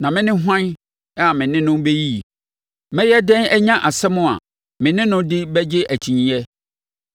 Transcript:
“Na me ne hwan a me ne no bɛyiyi? Mɛyɛ dɛn anya nsɛm a me ne no de bɛgye akyinnyeɛ?